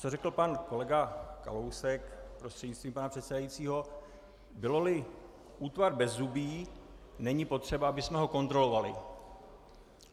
Co řekl pan kolega Kalousek, prostřednictvím pana předsedajícího, byl-li útvar bezzubý, není potřeba, abychom ho kontrolovali.